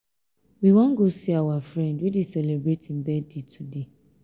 we wan go see our friend wey dey celebrate im birthday today